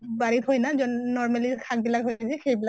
বাৰিত হয় না normally শাক বিলাক হয় যে, সেইবিলাক